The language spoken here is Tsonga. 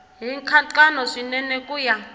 hi nkhaqato swinene ku ya